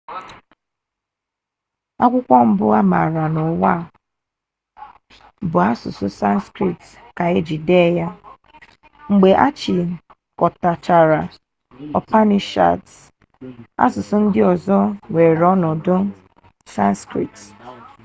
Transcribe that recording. akwụkwọ mbụ a maara n'ụwa a bụ asụsụ sanskrit ka e ji dee ya mgbe a chịkọtachara upanishads asụsụ ndị ọzọ ewere ọnọdụ sanskrit